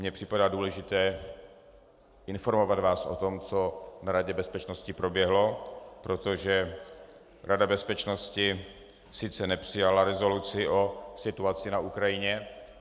Mně připadá důležité informovat vás o tom, co na Radě bezpečnosti proběhlo, protože Rada bezpečnosti sice nepřijala rezoluci o situaci na Ukrajině...